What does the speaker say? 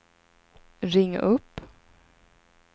ring upp